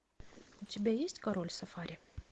у тебя есть король сафари